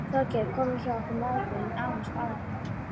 Þorgeir kom við hjá okkur mæðgum nánast daglega.